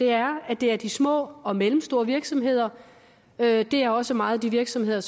er at det er de små og mellemstore virksomheder det er også meget de virksomheder